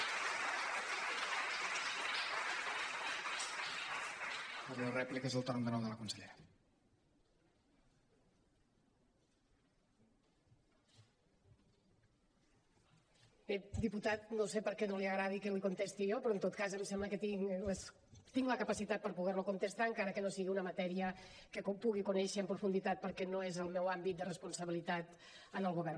bé diputat no sé per què no li agrada que li contesti jo però en tot cas em sembla que tinc la capacitat per poder lo contestar encara que no sigui una matèria que pugui conèixer en profunditat perquè no és el meu àmbit de responsabilitat en el govern